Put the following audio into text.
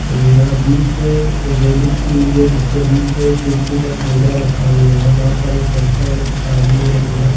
ऐ यहां बीच में रेलिंग की हुई है जिसके बीच में एक तुलसी का पौधा रखा हुआ है वहां पर एक बच्चा और एक आदमी और एक औरत --